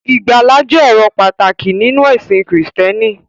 Ìgbàlà jẹ́ èrò pàtàkì nínú ẹ̀sìn Krístẹ́nì.